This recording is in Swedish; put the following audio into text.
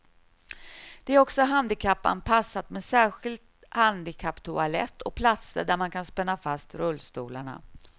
Det är också handikappanpassat med särskild handikapptoalett och platser där man kan spänna fast rullstolarna.